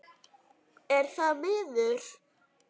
Er það miður.